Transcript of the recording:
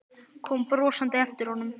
Kom brosandi á eftir honum.